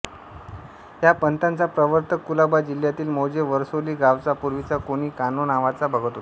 या पंथाचा प्रवर्तक कुलाबा जिल्ह्यांतील मौजे वरसोली गांवचा पूर्वीचा कोणी कान्हो नावाचा भगत होता